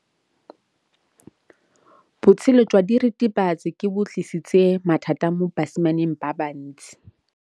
Botshelo jwa diritibatsi ke bo tlisitse mathata mo basimaneng ba bantsi.